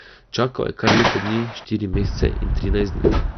Čakal je kar leto dni, štiri mesece in trinajst dni.